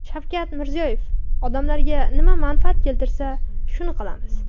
Shavkat Mirziyoyev: Odamlarga nima manfaat keltirsa, shuni qilamiz.